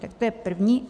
Tak to je první.